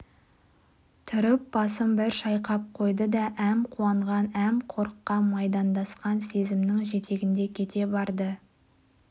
тұрып басын бір шайқап қойды да әм қуанған әм қорыққан майдандасқан сезімнің жетегінде кете барды